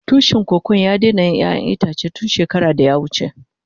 Tushin Kokon ya daina yin ƴayan itace tun shekara da ya wuce.